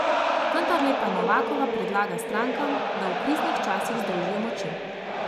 Vendarle pa Novakova predlaga strankam, da v kriznih časih združijo moči.